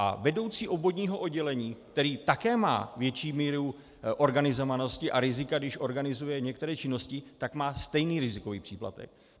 A vedoucí obvodního oddělení, který také má větší míru organizovanosti a rizika, když organizuje některé činnosti, tak má stejný rizikový příplatek.